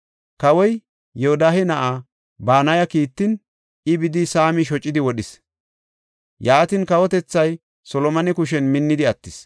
Kawoy, Yoodahe na7aa Banaya kiittin, I bidi, Saami shocidi wodhis. Yaatin, kawotethay Solomone kushen minnidi attis.